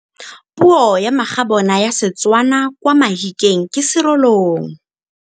Puô ya magabôna ya Setswana kwa Mahikeng ke Serolong.